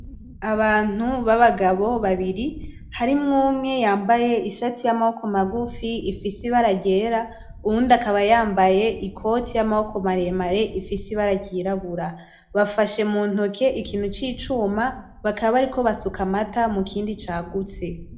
Abantu babagabo babiri harimwo umwe yambaye ishati yamaboko magufi ifise ibara ryera, uwundi akaba yambaye ikoti yamaboko maremare ifise ibara ry'irabura bafashe mu ntoke ikintu c'icuma bakaba bariko basuka amata mukindi cagutse.